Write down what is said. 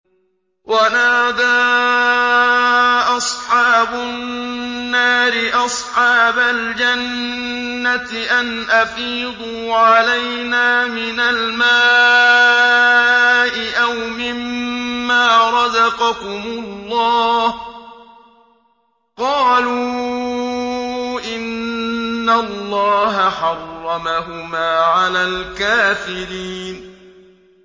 وَنَادَىٰ أَصْحَابُ النَّارِ أَصْحَابَ الْجَنَّةِ أَنْ أَفِيضُوا عَلَيْنَا مِنَ الْمَاءِ أَوْ مِمَّا رَزَقَكُمُ اللَّهُ ۚ قَالُوا إِنَّ اللَّهَ حَرَّمَهُمَا عَلَى الْكَافِرِينَ